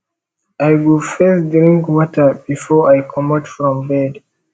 i go first drink water before i comot from bed